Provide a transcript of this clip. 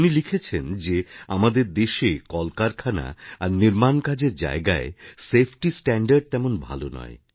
উনি লিখেছেন যে আমাদের দেশে কলকারখানা আর নির্মাণ কাজের জায়গায় সেফটিস্ট্যান্ডার্ড তেমন ভালো নয়